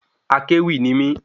Akéwì ni mí